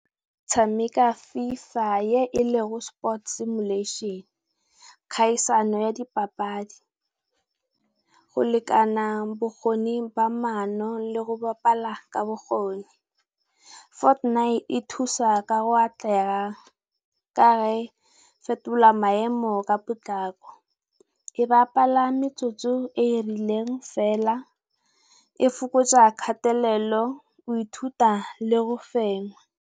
Tshameka FiFa ye ele go Sport simulation. Kgaisano ya dipapadi, go lekana bokgoni ba mano le go bapala ka bokgoni. Fortnite e thusa ka go atlega, ka ge e fetola maemo ka potlako, e bapala metsotso e e rileng fela, e fokotsa kgatelelo, go ithuta le go fenya.